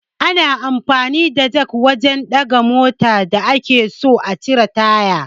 Ana amfani da jak wajan ɗaga mota da ake so a cire taya